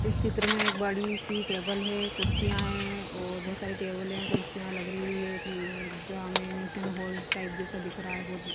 इस चित्र में एक बड़ी सी टेबल है कुर्सिया है और बहोत सारी टेबल है कुर्सिया लग रही हुई है। एग्जामिनेशन हॉल टाइप जैसा दिख रहा है बहोत--